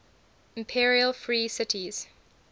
imperial free cities